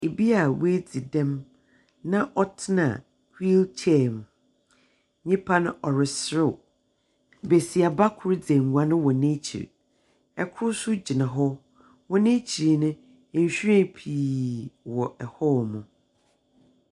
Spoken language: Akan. Obi a ɔadzi dɛm na ɔtena wheel chair mu. Nyimpa no ɔreserew. Besiaba kor dzi nguan wɔ n'ekyir. Okor nso gyna hɔ. Wɔ n'ekyir no, nhwiren pii wɔ hɔnom.